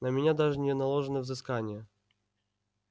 на меня даже не наложено взыскание